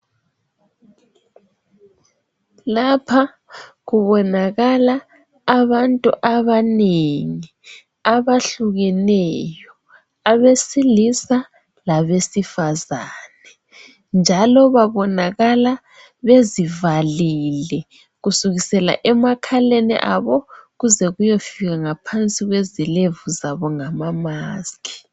Lapha kubonakala abantu abanengi abahlukeneyo abesilisa labesifazane njalo babonakala bezivalile kusukisela emakhaleni abo kuze kuyofika ngaphansi kwezilevu zabo ngama masikhi.